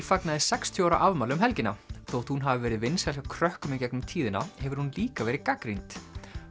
fagnaði sextíu ára afmæli um helgina þótt hún hafi verið vinsæl hjá krökkum í gegnum tíðina hefur hún líka verið gagnrýnd